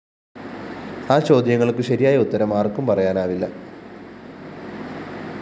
ആ ചോദ്യങ്ങള്‍ക്കു ശരിയായ ഉത്തരം ആര്‍ക്കും പറയാനാവില്ല